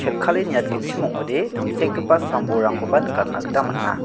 niatgenchim ong·ode tangsekgipa sam-bolrangkoba nikatna gita man·a.